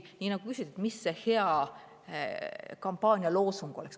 Mis see hea kampaanialoosung oleks?